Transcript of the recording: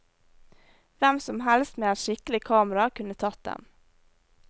Hvem som helst med et skikkelig kamera kunne tatt dem.